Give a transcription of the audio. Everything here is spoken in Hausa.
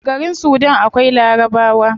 A garin sudan akwai larabawa